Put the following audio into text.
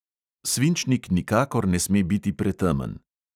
Svinčnik nikakor ne sme biti pretemen.